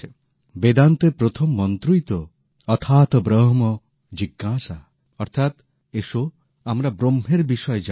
বেদান্তের প্রথম মন্ত্রই তো অথাতো ব্রহম জিজ্ঞাসা অর্থাৎ এস আমরা ব্রহ্মের বিষয়ে জানতে চাই